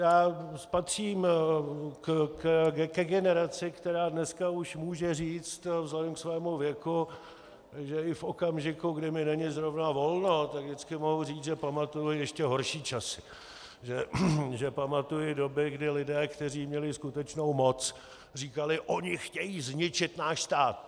Já patřím ke generaci, která dneska už může říct vzhledem ke svému věku, že i v okamžiku, kdy mi není zrovna volno, tak vždycky mohu říct, že pamatuji ještě horší časy, že pamatuji doby, kdy lidé, kteří měli skutečnou moc, říkali: Oni chtějí zničit náš stát!